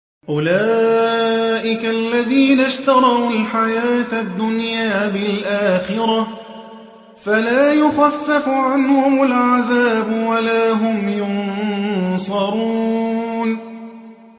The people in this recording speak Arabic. أُولَٰئِكَ الَّذِينَ اشْتَرَوُا الْحَيَاةَ الدُّنْيَا بِالْآخِرَةِ ۖ فَلَا يُخَفَّفُ عَنْهُمُ الْعَذَابُ وَلَا هُمْ يُنصَرُونَ